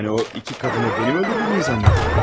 Yəni o iki qadını mənim öldürdüyümü güman edirlər?